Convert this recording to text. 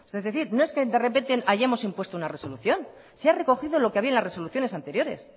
es decir no es que de repente hayamos impuesto una resolución se ha recogido lo que había en las resoluciones anteriores